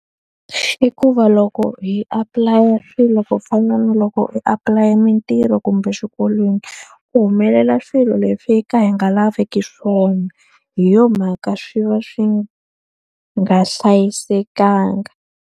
I ku va loko hi apulaya swilo ku fana na loko hi apulaya mintirho kumbe xikolweni, ku humelela swilo leswi hi ka hi nga laveki swona. Hi yona mhaka swi va swi nga hlayisekanga.